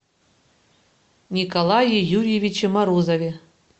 николае юрьевиче морозове